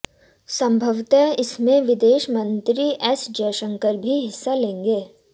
संभवतः इसमें विदेश मंत्री एस जयशंकर भी हिस्सा लेंगे